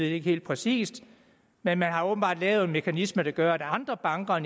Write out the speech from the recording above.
ikke helt præcist men man har åbenbart lavet en mekanisme der gør at andre banker